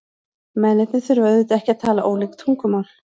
Mennirnir þurfa auðvitað ekki að tala ólík tungumál.